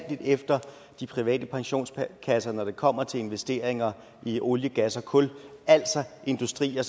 efter de private pensionskasser når det kommer til investeringer i olie gas og kul altså industrier